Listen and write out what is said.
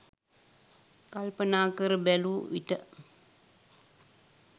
කල්පනා කර බැලූ විට